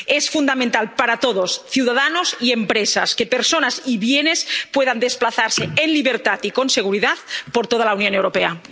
Es fundamental para todos, ciudadanos y empresas, que personas y bienes puedan desplazarse en libertad y con seguridad por toda la Unión Europea.